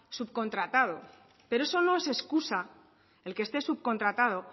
subcontratado pero eso no es excusa el que esté subcontratado